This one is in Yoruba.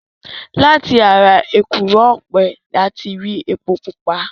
Láti ara èkùrọ́ ọ̀pẹ ni a ti rí epo pupa.